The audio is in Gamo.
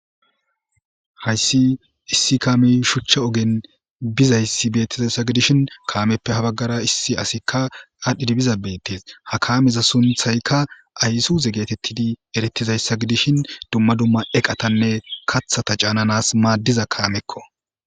hayssi issi kaami shuchcha ogen bizayssi beettizayssa gidishin kaameppe habaggara issi asikka aadhdhidi biza beettes ha kaamiza sunthaykka aysu ze getettidi eretizayssa gidishin dumma dumma eqatanne kathata caananas maaddiza kaamekko